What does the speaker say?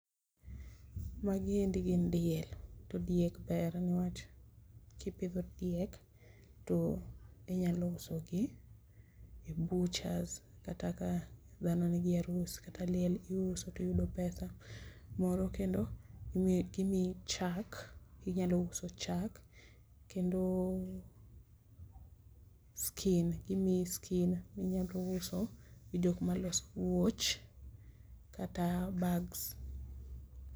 Magi endi gin diel. To diek ber ne wach kipidho diek to inyalo usogi e butchers kata ka dhano nigi arus kata liel iuso tiyudo pesa. Moro kendo, gimiyi chak, inyalo uso chak. Kendo skin, gimiyi skin, minyalo uso skin e jok maloso wuoch kata bags.